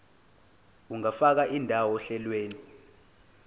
ungafaka indawo ohlelweni